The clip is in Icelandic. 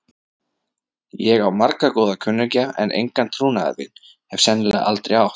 Ég á marga góða kunningja, en engan trúnaðarvin. hef sennilega aldrei átt.